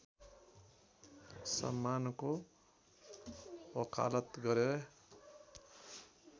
सम्मानको वकालत गरे